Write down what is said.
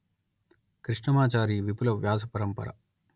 కృష్ణమాచారి విపుల వ్యాస పరంపర